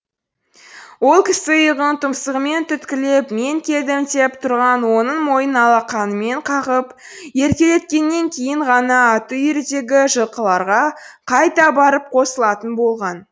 ол кісі иығын тұмсығымен түрткілеп мен келдім деп тұрған оның мойнын алқанымен қағып еркелеткеннен кейін ғана аты үйірдегі жылқыларға қайта барып қосылатын болған